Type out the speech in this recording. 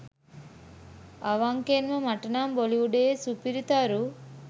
අවංකෙන්ම මටනම් බොලිවුඩයේ සුපිරි තරු